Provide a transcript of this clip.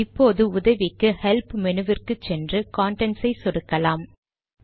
இப்போது உதவிக்கு ஹெல்ப் மெனுவிற்கு சென்று கன்டென்ட்ஸ் ஐ சொடுக்கலாம்